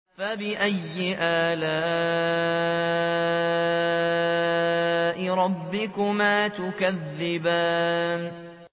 فَبِأَيِّ آلَاءِ رَبِّكُمَا تُكَذِّبَانِ